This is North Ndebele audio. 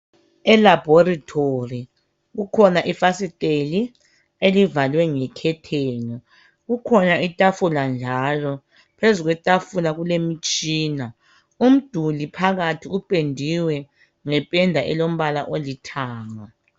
Elaboritori kukhona ifasiteli elivalwe ngekhetheni kukhona itafula njalo phezu kwetafula kule mitshina umduli phakathi upendiwe ngependa elombala olithanga.